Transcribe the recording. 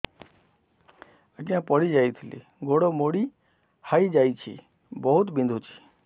ଆଜ୍ଞା ପଡିଯାଇଥିଲି ଗୋଡ଼ ମୋଡ଼ି ହାଇଯାଇଛି ବହୁତ ବିନ୍ଧୁଛି